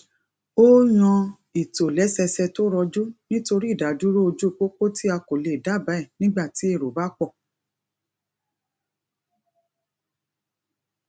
o yan ìtòlẹsẹẹsẹ to roju nitori idaduro oju popo ti a ko le daba e nigba ti ero ba po